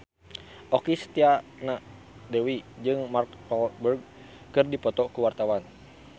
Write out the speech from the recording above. Okky Setiana Dewi jeung Mark Walberg keur dipoto ku wartawan